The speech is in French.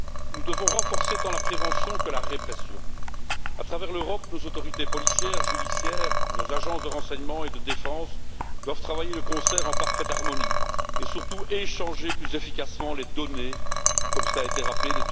Nous devons renforcer tant la prévention que la répression. À travers l'Europe, nos autorités policières, judiciaires, nos agences de renseignement et de défense doivent travailler de concert en parfaite harmonie, et surtout échanger plus efficacement les données qu'elles collectent, comme cela a été rappelé.